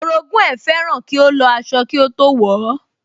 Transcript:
Orogún ẹ̀ fẹ́ràn kí ó lọ aṣọ kí ó tó wọ̀ ọ́